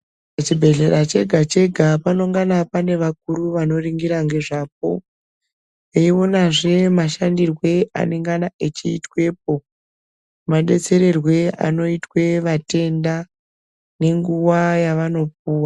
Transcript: Chibhedhlera chega chega panenge pane vakuru vanoningira nezvapo veionazve mashandirwo anenge achiitwa Madetsererwo anenge achiitwa vatenda nenguwa yavanopuwa.